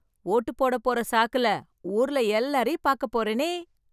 ஓட்டு போட போற சாக்குல ஊர்ல எல்லாரையும் பாக்க போறனே.